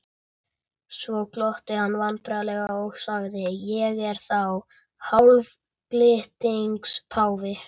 Svo glotti hann vandræðalega og sagði: Ég er þá hálfgildings páfi?